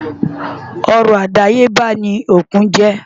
Ọrọ̀ àdáyébá ni òkun jẹ́.